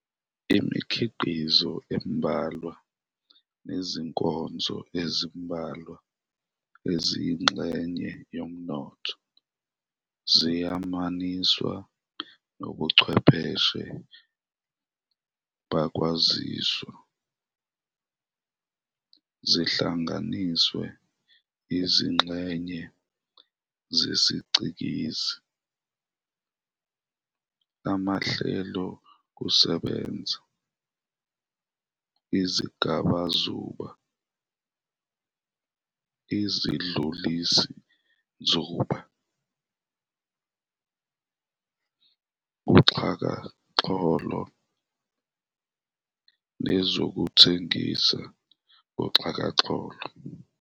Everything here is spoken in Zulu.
Imikhiqizo embalwa nezinkonzo ezimbalwa eziyingxenye yomnotho ziyamaniswa nobuchwepheshe bokwaziswa, zihlanganisa izingxenye zesicikizi, amahlelokusebenza, izingabazuba, izidlulisinzuba, uxhakaxholo, nezokuthengisa ngoxhakaxholo.